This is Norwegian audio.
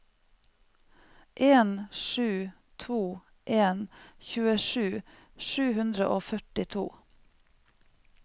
en sju to en tjuesju sju hundre og førtito